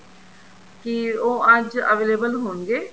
ਕੀ ਉਹ ਅੱਜ available ਹੋਣਗੇ